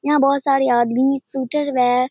यहाँ बहुत सारे आदमी सुतल बा।